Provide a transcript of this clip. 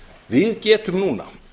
við getum núna